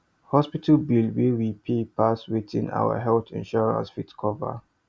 hospital bill wey we pay pass wetin our health insurance fit cover